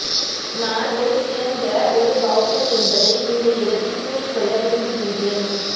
நான் ஒரு சிறந்த ஒரு பௌத்தன் என்பதை இந்த இடத்தில் கூறிக்கொள்ள விரும்புகின்றேன்